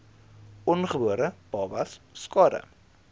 ongebore babas skade